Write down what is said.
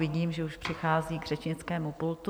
Vidím, že už přichází k řečnickému pultu.